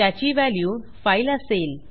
त्याची value file असेल